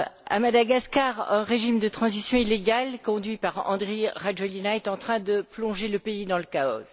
À Madagascar, un régime de transition illégal conduit par Andry Rajoelina est en train de plonger le pays dans le chaos.